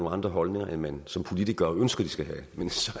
andre holdninger end man som politiker ønsker de skal have men så